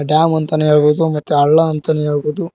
Dam ಅಂತನೇ ಹೇಳ್ಬಹುದು ಮತ್ತೆ ಹಳ್ಳ ಅಂತಾನೇ ಹೇಳ್ಬಹುದು.